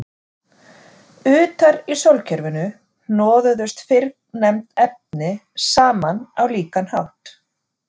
Utar í sólkerfinu hnoðuðust fyrrnefnd efni saman á líkan hátt.